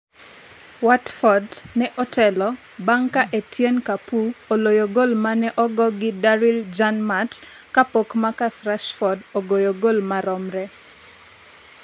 Watford ne otelo bang' ka Etienne Capoue oloyo gol mane ogo gi Daryl Janmaat kapok Marcus Rashford ogoyo gol maromre.